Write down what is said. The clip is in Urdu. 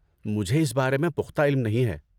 مجھے اس بارے میں پختہ علم نہیں ہے۔